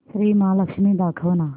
श्री महालक्ष्मी दाखव ना